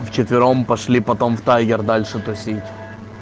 в четвером пошли потом в таер дальше тусить